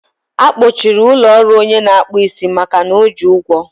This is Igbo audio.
a kpọchiri ụlọ ọrụ ọnye na-akpụ isi makana o ji ụgwọ